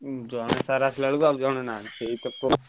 ଉଁ ଜଣେ sir ଆସିଲା ବେଳକୁ ଆଉ ଜଣେ ନାଇଁ ସେଇତ ପୋ ।